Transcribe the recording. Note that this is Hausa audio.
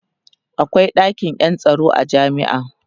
akwai ɗakin Yan tsaro a jami'a